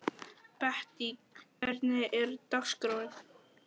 Bettý, hvernig er dagskráin?